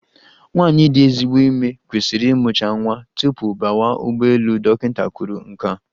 Nwaanyị dị ezigbo ime kwesịrị ịmụcha nwa tupu bawa ụgbọelu, dọkịịta kwuru nke a.